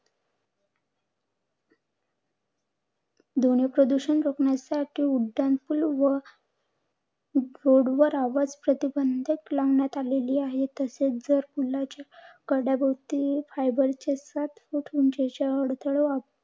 ध्वनी प्रदूषण रोखण्यासाठी उड्डाणपूल व road वर आवाज प्रतिबंधक लावण्यात आलेली आहेत. तसेच जर पुलाच्या कड्या भोवती fiber चे सात foot उंचीचे अडथळे